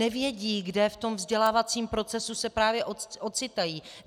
Nevědí, kde v tom vzdělávacím procesu se právě ocitají.